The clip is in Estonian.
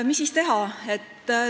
Mis siis teha?